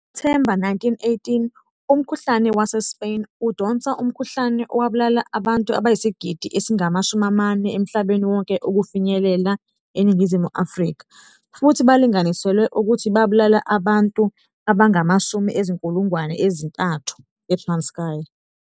NgoSepthemba 1918 umkhuhlane wase Spain udonsa umkhuhlane owabulala abantu abayisigidi esingama 40 emhlabeni wonke ukufinyelela eNingizimu Afrika futhi balinganiselwe ukuthi babulala abantu abanga 30 000 eTranskei.